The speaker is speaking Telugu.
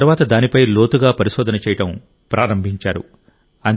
ఆ తర్వాత దానిపై లోతుగా పరిశోధన చేయడం ప్రారంభించారు